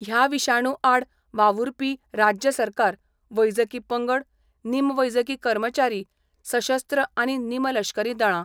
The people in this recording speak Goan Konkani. ह्या विशाणू आड वावुरपी राज्य सरकार, वैजकी पंगड, नीम वैजकी कर्मचारी, सशस्त्र आनी निमलश्करी दळां.